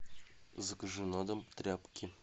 закажи на дом тряпки